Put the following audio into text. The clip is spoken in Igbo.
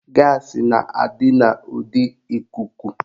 Gaasị na-adị n'ụdị ikuku